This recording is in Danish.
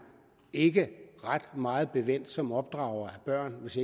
ikke ret meget bevendt som opdrager af børn hvis